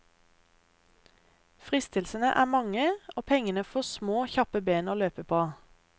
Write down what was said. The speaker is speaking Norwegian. Fristelsene er mange, og pengene får små, kjappe ben å løpe på.